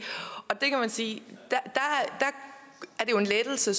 det er jo en lettelse